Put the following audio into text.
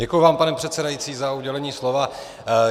Děkuji vám, pane předsedající za udělení slova.